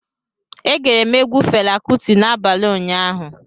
E gere m egwu Fela Kuti n'abalị ụnyaahụ